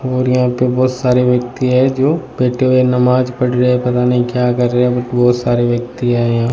और यहां पे बहोत सारे व्यक्ति है जो बैठे हुए नमाज पढ़ रहे है पता नही क्या कर रहे है बट बहोत सारे व्यक्ति है यहा।